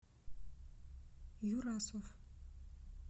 юрасов